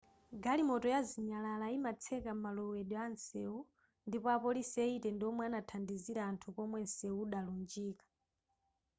galimoto ya zinyalala yimatseka malowedwe atsewu ndipo apolisi 80 ndiwomwe anathandizira anthu komwe nseu udalunjika